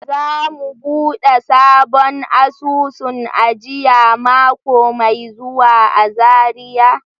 Za mu buɗe sabon asusun ajiya mako mai zuwa a Zariya.